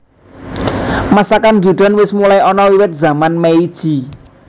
Masakan Gyudon wis mulai ana wiwit zaman Meiji